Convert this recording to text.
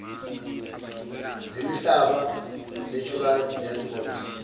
zemihlaba natural landforms